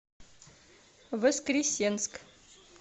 воскресенск